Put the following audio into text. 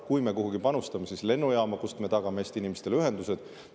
Kui me kuhugi panustame, siis lennujaama, kust me tagame Eesti inimestele ühendused.